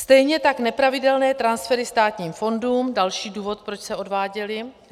Stejně tak nepravidelné transfery státním fondům, další důvod, proč se odváděly.